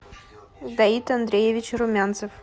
давид андреевич румянцев